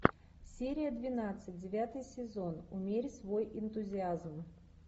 серия двенадцать девятый сезон умерь свой энтузиазм